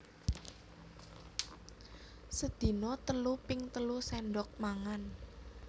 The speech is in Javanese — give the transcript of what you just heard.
Sedina telu ping telu séndhok mangan